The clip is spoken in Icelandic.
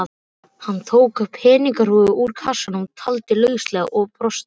Hann tók peningahrúgu úr kassanum, taldi lauslega og brosti.